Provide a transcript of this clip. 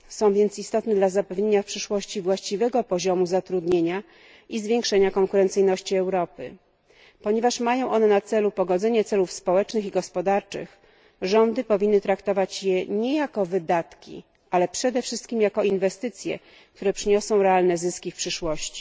są więc istotne dla zapewnienia w przyszłości właściwego poziomu zatrudnienia i zwiększenia konkurencyjności Europy. Ponieważ mają one na celu pogodzenie celów społecznych i gospodarczych, rządy powinny traktować je nie jako wydatki, ale przede wszystkim jako inwestycje, które przyniosą realne zyski w przyszłości.